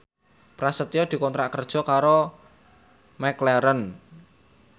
Prasetyo dikontrak kerja karo McLaren